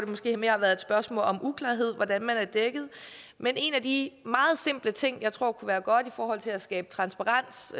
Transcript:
måske mere været spørgsmål om uklarhed hvordan man er dækket men en af de meget simple ting jeg tror kunne være godt i forhold til at skabe transparens